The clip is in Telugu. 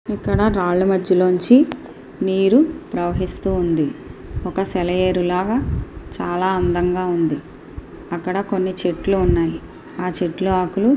ఇక్కడ రాళ్ల మధ్యలో నుంచి నీరు ప్రవహిస్తుంది ఒక సెలయేరు లాగా చాలా అందంగా ఉంది. అక్కడ కొన్ని చెట్లు ఉన్నాయి ఆ చెట్ల ఆకులు --